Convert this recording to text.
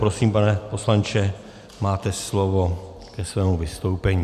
Prosím, pane poslanče, máte slovo ke svému vystoupení.